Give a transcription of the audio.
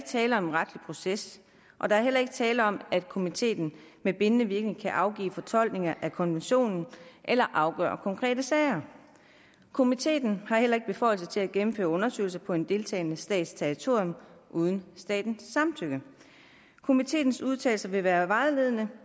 tale om en retslig proces og der er heller ikke tale om at komiteen med bindende virkning kan afgive fortolkninger af konventionen eller afgøre konkrete sager komiteen har heller ikke beføjelser til at gennemføre undersøgelser på en deltagende stats territorium uden statens samtykke komiteens udtalelser vil være vejledende